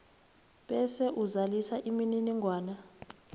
bese uzalisa imininingwana